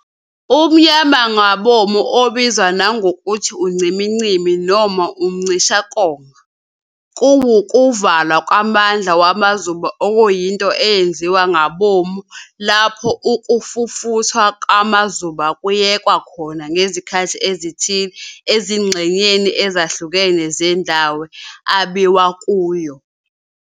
Umnyamangabomu, obizwa nangokuthi ucimicimi noma ukucishakonga, kuwukuvalwa kwamandla wamazuba okuyinto eyenziwa ngabomu lapho ukufufuthwa kwamazuba kuyekwa khona ngezikhathi ezithile ezingxenyeni ezahlukene zendawo abiwa kuyo.